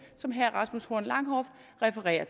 som herre rasmus horn langhoff refererer